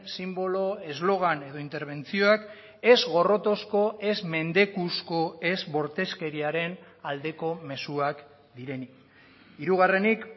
sinbolo eslogan edo interbentzioak ez gorrotozko ez mendekuzko ez bortizkeriaren aldeko mezuak direnik hirugarrenik